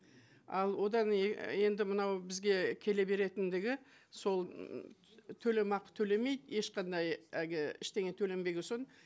ал одан енді мынау бізге келе беретіндігі сол м төлемақы төлемейді ешқандай әлгі ештеңе төленбеген соң